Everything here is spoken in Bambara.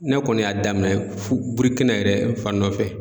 Ne kɔni y'a daminɛ Burukina yɛrɛ n fa nɔfɛ.